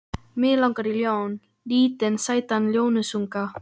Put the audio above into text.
Mig langar í ljón, lítinn sætan ljónsunga.